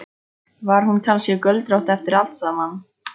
Var hún kannski göldrótt eftir allt saman?